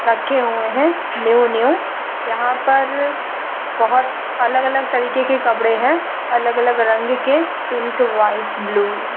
हुए हैं new new | यहाँ पर बहुत अलग-अलग तरीके के कपड़े हैं अलग-अलग रंग के पिंक वाइट ब्लू --